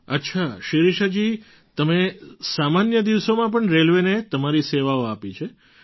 અચ્છા શિરિષાજી તમે સામાન્ય દિવસોમાં પણ રેલવેને તમારી સેવાઓ આપી છે